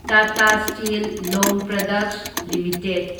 Tata steel long products limited